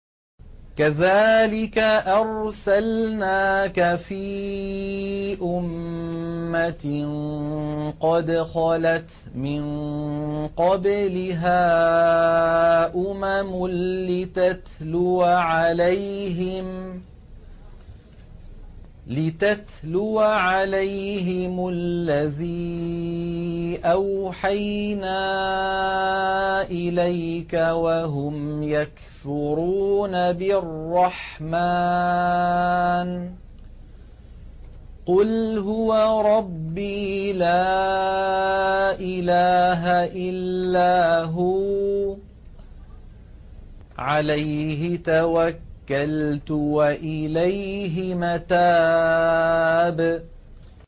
كَذَٰلِكَ أَرْسَلْنَاكَ فِي أُمَّةٍ قَدْ خَلَتْ مِن قَبْلِهَا أُمَمٌ لِّتَتْلُوَ عَلَيْهِمُ الَّذِي أَوْحَيْنَا إِلَيْكَ وَهُمْ يَكْفُرُونَ بِالرَّحْمَٰنِ ۚ قُلْ هُوَ رَبِّي لَا إِلَٰهَ إِلَّا هُوَ عَلَيْهِ تَوَكَّلْتُ وَإِلَيْهِ مَتَابِ